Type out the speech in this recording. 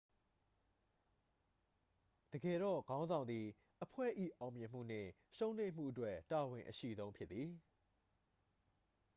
တကယ်တော့ ခေါင်းဆောင်သည် အဖွဲ့၏ အောင်မြင်မှုနှင့် ရှုံးနိမ့်မှုအတွက် တာဝန်အရှိဆုံးဖြစ်သည်